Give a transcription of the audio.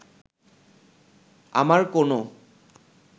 আমার কোনো